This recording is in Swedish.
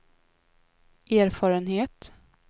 erfarenhet